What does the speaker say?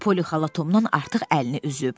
Polixala Tomdan artıq əlini üzüb.